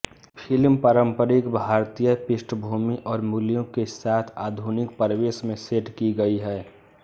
film पारंपरिक भारतीय पृष्ठभूमि और मूल्यों के साथ आधुनिक परिवेश में सेट की गई है